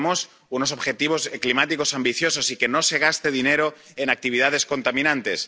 Queremos unos objetivos climáticos ambiciosos y que no se gaste dinero en actividades contaminantes.